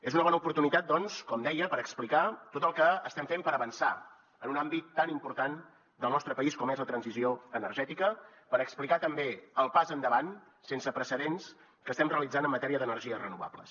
és una bona oportunitat doncs com deia per explicar tot el que estem fent per avançar en un àmbit tan important del nostre país com és la transició energètica per explicar també el pas endavant sense precedents que estem realitzant en matèria d’energies renovables